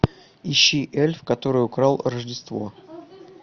ищи эльф который украл рождество